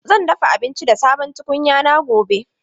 Zan dafa abinci da sabon tukunya na gobe.